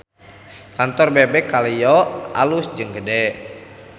Kantor Bebek Kaleyo alus jeung gede